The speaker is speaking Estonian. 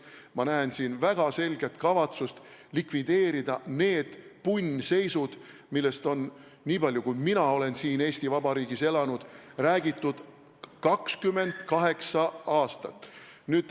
Ma näen siin väga selget kavatsust likvideerida need punnseisud, millest on, niipalju kui mina olen siin Eesti Vabariigis elanud, räägitud 28 aastat.